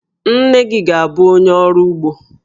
Nne gị ga-abụ onye ọrụ ugbo.